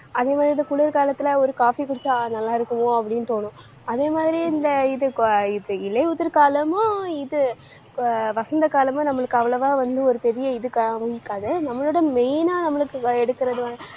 அதே மாதிரி இது குளிர்காலத்துல ஒரு coffee குடிச்சா, நல்லா இருக்குமோ? அப்படின்னு தோணும் அதே மாதிரி, இந்த இது அஹ் இது இலையுதிர் காலமும் இது அஹ் வசந்த காலமும், நம்மளுக்கு அவ்வளவா வந்து ஒரு பெரிய இதுக்காகவும் இருக்காது. நம்மளோட main ஆ நம்மளுக்கு எடுக்கறது வந்து,